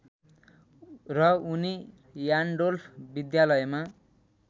र उनी र्यान्डोल्फ विद्यालयमा